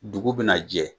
Dugu bina jɛ